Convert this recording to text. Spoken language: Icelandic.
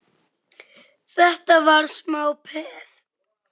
Þetta var smá peð!